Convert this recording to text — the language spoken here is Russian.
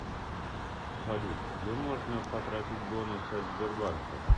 салют где можно потратить бонусы от сбербанка